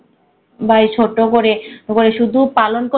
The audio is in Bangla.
বাই ছোট্ট করে করে শুধু পালন